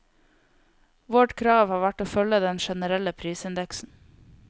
Vårt krav har vært å følge den generelle prisindeksen.